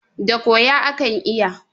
Da koya akan iyawa.